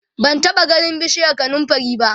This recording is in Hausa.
ban taɓa ganin bishiyar kanumfari ba